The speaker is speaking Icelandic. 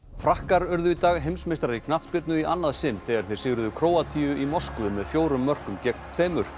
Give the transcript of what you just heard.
frakkar urðu í dag heimsmeistarar í knattspyrnu í annað sinn þegar þeir sigruðu Króatíu í Moskvu með fjórum mörkum gegn tveimur